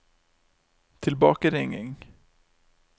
tilbakeringing